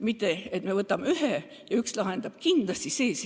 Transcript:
Mitte et me võtame ühe meetme ja see üks meede lahendab kindlasti probleemi.